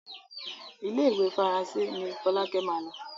Ile-iwe Faranse ní Folake má ló.